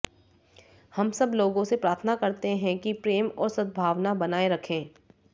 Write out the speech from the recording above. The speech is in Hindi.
हम सब लोगों से प्रार्थना करते हैं कि प्रेम और सद्भावना बनाए रखें